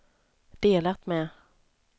delat med